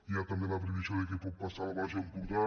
hi ha també la previsió de què pot passar al baix empordà